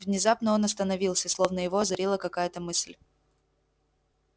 внезапно он остановился словно его озарила какая-то мысль